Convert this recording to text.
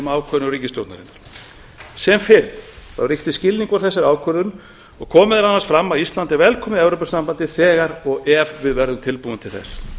ákvörðun ríkisstjórnarinnar sem fyrr ríkti skilningur á þessari ákvörðun og kom meðal annars fram að ísland er velkomið í evrópusambandið þegar og ef við verðum tilbúin til þess